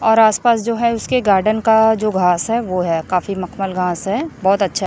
और आस पास जो है उसके गार्डन का जो घास है वो है काफी मखमल घास है बहोत अच्छा--